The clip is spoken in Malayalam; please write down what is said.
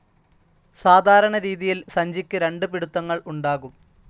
സാധാരണ രീതിയിൽ സഞ്ചിക്ക് രണ്ട് പിടുത്തങ്ങൾ ഉണ്ടാകും.